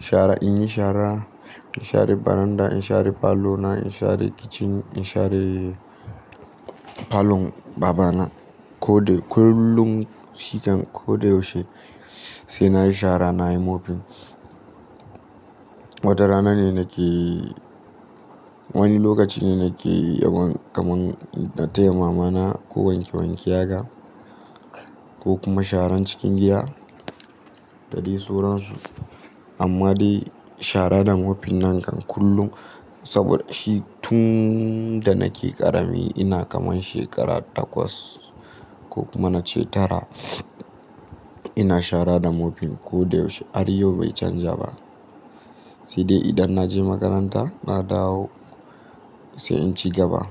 shara in yi shara, in share baranda, in share falo na, in share kitchen, in share falon babana. Ko dai kullum, sitan ko da yaushe sai na yi shara, na yi mopping. Wata rana ne nake wani lokaci ne nake yawan kaman na taya mamana ko wanke wanke yaga ko kuma sharan cikin gida, dadai suransu. Amma dai shara da mopping nan kan kullum saboda shi tun da nake ƙarami ina kaman shekara takwas ko kuma na ce tara, ina shara da mopping ko dai yaushe. Har yau bai canja ba. Sai dai idan na je makaranta na dawo sai in ci gaba.